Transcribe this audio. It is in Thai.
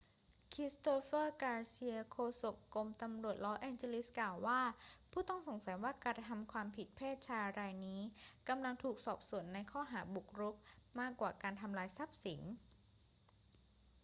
christopher garcia โฆษกกรมตำรวจลอสแองเจลิสกล่าวว่า ผู้ต้องสงสัยว่ากระทำความผิดเพศชายรายนี้กำลังถูกสอบสวนในข้อหาบุกรุกมากกว่าการทำลายทรัพย์สิน